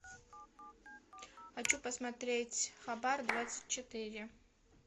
хочу посмотреть хабар двадцать четыре